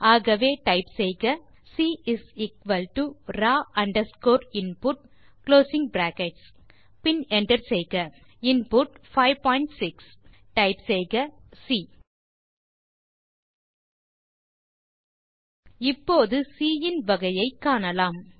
ஆகவே டைப் செய்க C raw underscore input பின் என்டர் செய்க புட் 56 enter செய்க டைப் சி இப்போது சி இன் வகையை காணலாம்